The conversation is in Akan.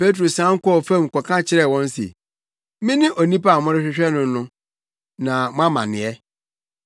Petro sian kɔɔ fam kɔka kyerɛɛ wɔn se, “Mene onipa a morehwehwɛ no no, na mo amanneɛ?”